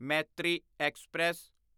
Maitri express